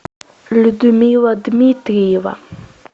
людмила дмитриева